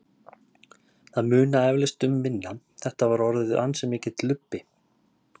Það munar eflaust um minna, þetta var orðið ansi mikill lubbi.